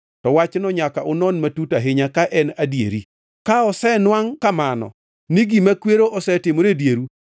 to wachno nyaka unon matut ahinya ka en adieri. Ka osenwangʼo kamano ni gima kwero osetimore e dieru,